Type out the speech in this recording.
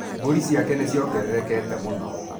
Mbũri ciake nĩ ciongererekete mũno.